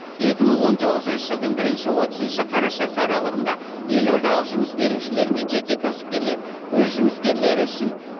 екі мың он тоғызыншы жылдың бірінші отызыншы қарашасы аралығында елордалық жұмыс берушілер мен жеке кәсіпкерлер өз жұмыскерлері үшін